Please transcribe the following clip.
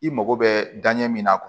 I mago bɛ danɲɛ min na